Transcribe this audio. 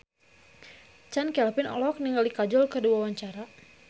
Chand Kelvin olohok ningali Kajol keur diwawancara